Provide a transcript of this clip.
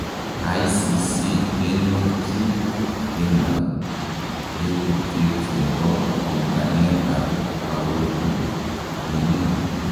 ICC konyorji Bemba lelutiet ne bo honganetab baorinik.